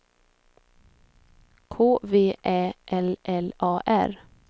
K V Ä L L A R